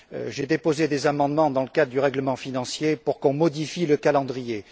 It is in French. J'ai déposé des amendements dans le cadre du règlement financier pour que l'on modifie le calendrier.